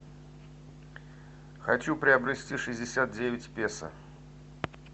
хочу приобрести шестьдесят девять песо